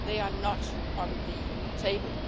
They are not on the table.